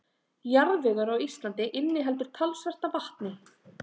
Jarðvegur á Íslandi inniheldur talsvert af vatni.